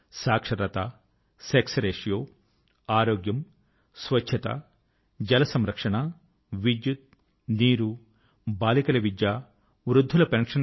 సాక్షరత sex ratio ఆరోగ్యం స్వచ్ఛత జల సంరక్షణ విద్యుత్తు నీరు బాలికల విద్య వృద్ధుల పెన్షన్ కు